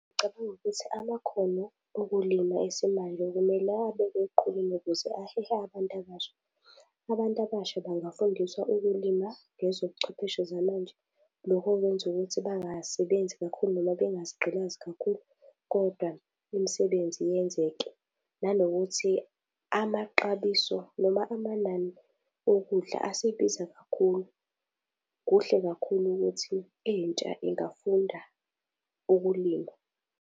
Ngicabanga ukuthi amakhono okulima esimanje kumele abekwe eqhulwini ukuze ahehe abantu abasha. Abantu abasha bayafundiswa ukulima ngezobuchwepheshe zamanje. Lokhu kwenza ukuthi bangasebenzi kakhulu noma bengazigqilazi kakhulu kodwa imisebenzi yenzeke, nanokuthi amaxabiso noma amanani okudla asebiza kakhulu. Kuhle kakhulu ukuthi intsha ingafunda ukulima.